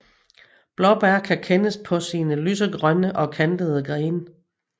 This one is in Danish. Blåbær kan kendes på sine lysegrønne og kantede grene